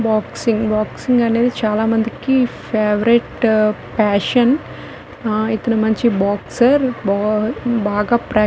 boxing boxing అనేది చాలా మందికి ఫేవరేట్ ప్యాషన్ అ ఇతను మంచి బాక్సర్ బా బాగా ప్రా --